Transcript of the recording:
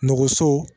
Nɔgɔnso